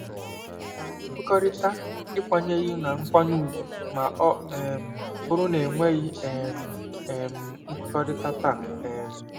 Ka anyị kwekọrịta ikwenyeghị na nkwanye ùgwù ma ọ um bụrụ na enweghị um um nkwekọrịta taa. um